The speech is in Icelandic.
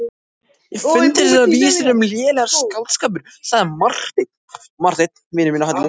Mér fundust þessar vísur um mig lélegur skáldskapur, sagði Marteinn.